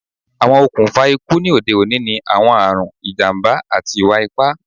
Awọn okunfa iku ni ode oni ni awọn arun, ijamba, ati iwa-ipa